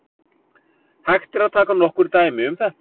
Hægt er að taka nokkur dæmi um þetta.